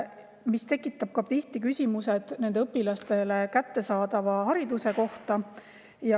See tekitab tihti küsimuse nendele õpilastele kättesaadava hariduse kohta.